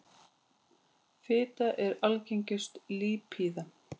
Fita er algengust lípíða.